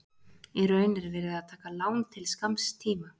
Í raun er verið að taka lán til skamms tíma.